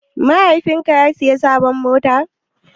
Mahaifin ka ya siya sabon mota?